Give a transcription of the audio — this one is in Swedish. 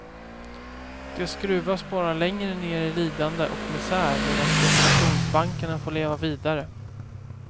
De skruvas bara längre ner i lidande och misär medan spekulationsbankerna får leva vidare.